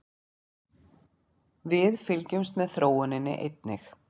Við fylgjumst með þróuninni einnig